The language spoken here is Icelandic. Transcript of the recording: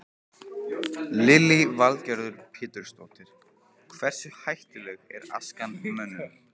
Lillý Valgerður Pétursdóttir: Hversu hættuleg er askan mönnum?